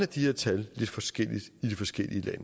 de her tal lidt forskelligt i de forskellige lande